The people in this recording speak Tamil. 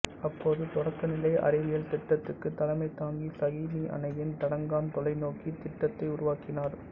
அப்போது தொடக்கநிலை அறிவியல் திட்டத்துக்குத் தலைமை தாங்கி சகிமீ அணியின் தடங்காண் தொலைநோக்கி திட்டத்தை உருவாக்கினார்